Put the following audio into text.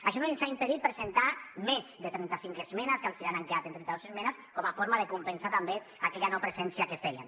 això no ens ha impedit presentar més de trenta cinc esmenes que al final han quedat en trenta dos esmenes com a forma de compensar també aquella no presència que fèiem